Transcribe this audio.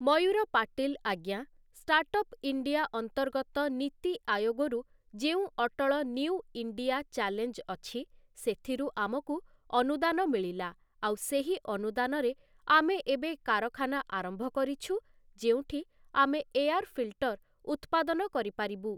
ମୟୂର ପାଟିଲ୍ ଆଜ୍ଞା, startup India ଅନ୍ତର୍ଗତ ନୀତି ଆୟୋଗରୁ ଯେଉଁ ଅଟଳ ନିଉ ଇଣ୍ଡିଆ ଚ୍ୟାଲେଞ୍ଜ୍ ଅଛି, ସେଥିରୁ ଆମକୁ ଅନୁଦାନ ମିଳିଲା ଆଉ ସେହି ଅନୁଦାନରେ ଆମେ ଏବେ କାରଖାନା ଆରମ୍ଭ କରିଛୁ, ଯେଉଁଠି ଆମେ ଏୟାର୍ ଫିଲ୍ଟର ଉତ୍ପାଦନ କରିପାରିବୁ ।